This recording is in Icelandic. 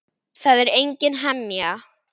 Það er engin hemja.